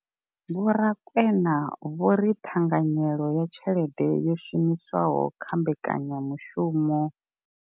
Vho Rakwena vho ri ṱhanganyelo ya tshelede yo shumiswaho kha mbekanyamushumo.